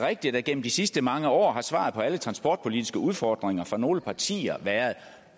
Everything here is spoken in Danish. rigtigt at gennem de sidste mange år har svaret på alle transportpolitiske udfordringer for nogle partier været